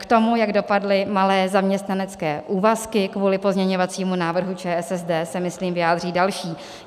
K tomu, jak dopadly malé zaměstnanecké úvazky kvůli pozměňovacímu návrhu ČSSD, se, myslím, vyjádří další.